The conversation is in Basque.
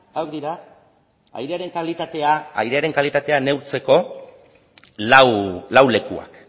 airearen kalitatea neurtzeko lau lekuak